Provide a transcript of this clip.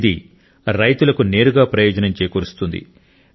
ఇది రైతులకు నేరుగా ప్రయోజనం చేకూరుస్తుంది